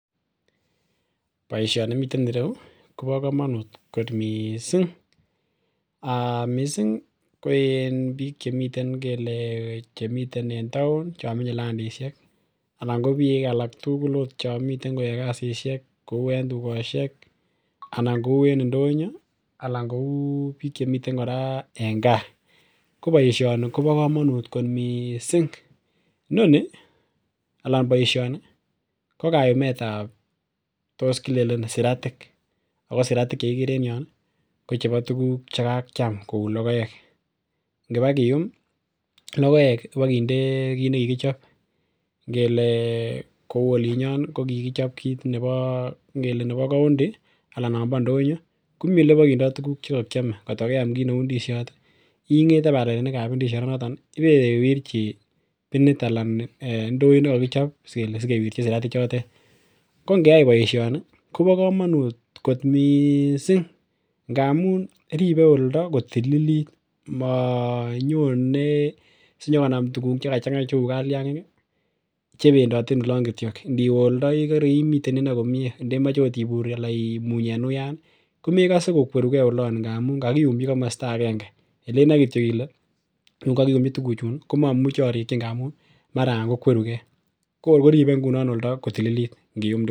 Boisioni miten ireu kobo komonut kot missing um missing ko en biik chemiten ngele chemiten en taon chon menye landisiek ako biik alak tugul ot chon miten koyoe kasisiek kou en tugosiek anan kou en ndonyo anan kou biik chemiten kora en gaa. Ko boisioni kobo komonut kot missing, inoni anan boisioni ko kayumet ab tos kilenen siratik ako siratik chekikere en yon ih ko chebo tuguk chekakiam kou logoek ngibakiyum logoek ak kinde kit nekikichop ngele kou olinyon kokikichob kit nebo ngele nebo koundi anan nombo ndonyo komii elebokindoo tuguk chekokiome kotko keam kit neu ndisiot ing'ete balaliat nebo ndisiot noton ih ibewirchi binit anan ndoit nekokichob kele sikewirchin siratik chotet, ko ngeyai boisioni kobo komonut kot missing amun ribe oldo kotililit monyone sinyokonam tuguk chekachang'a cheu kalyangik ih chebendote en olon kityok ndiwe oldo ikere imiten inei komie ndemoche ot ibur ana imuny en uyan ih komekose kokwerugee olon ngamun kakiyumji komosta agenge elenoe kityok kele yun kakiyumji tuguchun komomuche orikyi ngamun mara kokwerugee ko kor koribe ngunon oldo kotililit ngiyum tuguchu.